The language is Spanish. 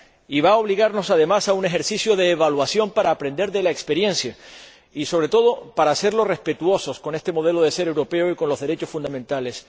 Y va a obligarnos, además, a un ejercicio de evaluación para aprender de la experiencia y, sobre todo, para hacernos respetuosos con este modelo de ser europeo y con los derechos fundamentales.